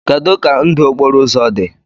Kedu ka ndụ okporo ụzọ dị?